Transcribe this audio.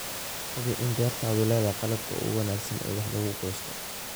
Hubi in beertaadu leedahay qalabka ugu wanaagsan ee wax lagu goosto.